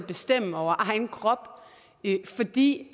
bestemme over egen krop fordi